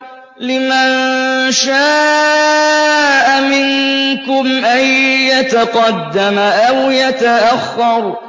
لِمَن شَاءَ مِنكُمْ أَن يَتَقَدَّمَ أَوْ يَتَأَخَّرَ